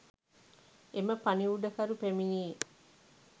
එම පණිවුඩකරු පැමිණියේ